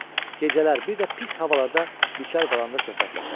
Gecələr, bir də pis havalarda bekar qalanda söhbətləşərdilər.